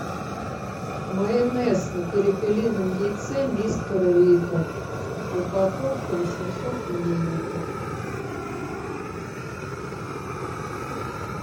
майонез на перепелином яйце мистер рико упаковка восемьсот миллилитров